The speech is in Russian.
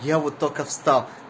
я вот только встал